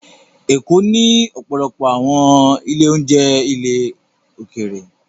Lagos ní ọ̀pọ̀lọpọ̀ àwọn ilé-oúnjẹ ilẹ̀ òkèèrè